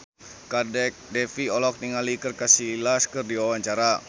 Kadek Devi olohok ningali Iker Casillas keur diwawancara